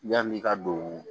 Yanni i ka don